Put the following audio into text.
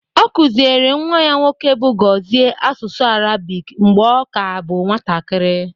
Ọ kụziere nwa ya nwoke bụ Gozie asụsụ Arabic mgbe ọ ka bụ nwatakiri